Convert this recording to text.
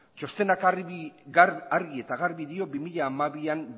txostenak argi eta garbi dio bi mila hamabian